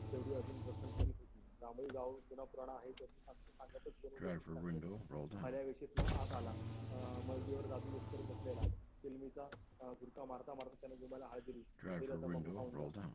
तेवढी अजून खणखणीत होती जमीन गाव जुना पुराना आहे त्याची साक्ष सांगतच फळ्या विशीत ना हाताला अं माय जिगर दादू एकीवर बसलेला अं झुरका मारता मारता त्यांनी जुमब्याला हाय दिली वीर्या तंबाखू खाऊन जा